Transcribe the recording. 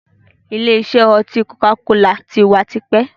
Ìlé isẹ́ oti koka-kola tí wá tipẹ́.